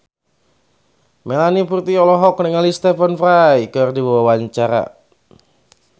Melanie Putri olohok ningali Stephen Fry keur diwawancara